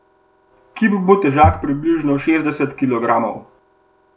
Kip bo težak približno šestdeset kilogramov.